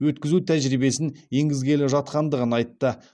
өткізу тәжірибесін енгізгелі жатқандығын айтты